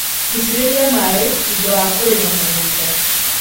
Itĩrĩria maĩ thutha wa kũrĩma mũgũnda.